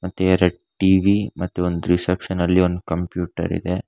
ಮತ್ತೆ ಎರಡ್ ಟಿ_ವಿ ಮತ್ತು ಒಂದು ರಿಸೆಪ್ಶನ್ ಅಲ್ಲಿ ಕಂಪ್ಯೂಟರ್ ಇದೆ.